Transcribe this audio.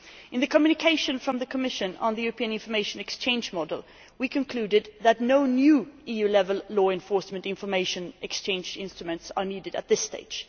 In the communication from the Commission on the European Information Exchange Model, we concluded that no new EU level law enforcement information exchange instruments are needed at this stage.